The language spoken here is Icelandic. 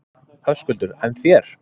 Höskuldur: En þér?